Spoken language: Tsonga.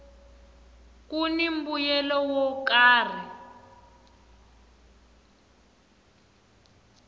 kuni mbuyelo wo karhi